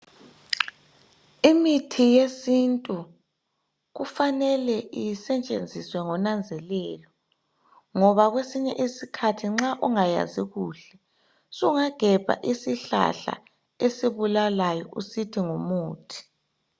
Imithi yesintu kufanele isetshenziswe ngonanzelelo ngoba kwesinye isikhathi nxa ungayazi kuhle sungagebha isihlahla esibulalayo usithi ngumuthi.